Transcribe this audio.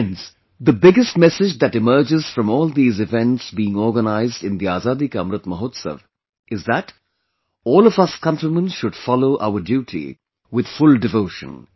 Friends, the biggest message that emerges from all these events being organized in the Azadi Ka Amrit Mahotsav is that all of us countrymen should follow our duty with full devotion